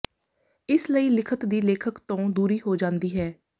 ਇਸ ਲਈ ਲਿਖਤ ਦੀ ਲੇਖਕ ਤੋਂ ਦੂਰੀ ਹੋ ਜਾਂਦੀ ਹੈ